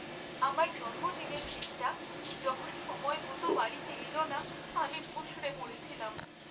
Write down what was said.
আমার জন্মদিনের কেকটা যখন সময় মতো বাড়িতে এলো না আমি মুষড়ে পড়েছিলাম।